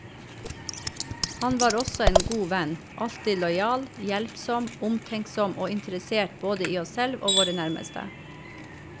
Han var også en god venn, alltid lojal, hjelpsom, omtenksom og interessert både i oss selv og våre nærmeste.